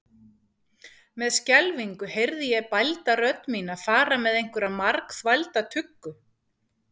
Með skelfingu heyrði ég bælda rödd mína fara með einhverja margþvælda tuggu.